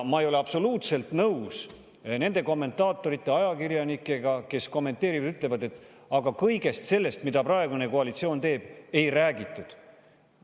Ma ei ole absoluutselt nõus nende kommentaatorite ja ajakirjanikega, kes kommenteerivad ja ütlevad: aga kõigest sellest, mida praegune koalitsioon teeb, ei räägitud.